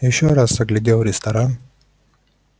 ещё раз оглядел ресторан